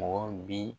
Mɔgɔ bi